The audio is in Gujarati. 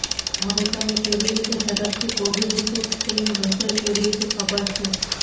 હવે તમે કેવી રીતે ઝડપથી કોબીજ સૂપ ક્રીમ રસોઇ કેવી રીતે ખબર છે